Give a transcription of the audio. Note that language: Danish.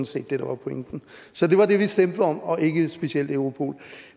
set det der var pointen så det var det vi stemte om og ikke specifikt om europol